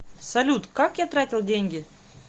салют как я тратил деньги